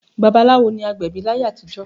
Babaláwo ni agbẹ̀bí láyé àtijọ́